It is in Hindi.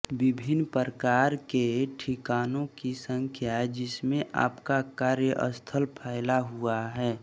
विभिन्न प्रकार के ठिकानों की संख्या जिसमें आपका कार्यस्थल फैला हुआ है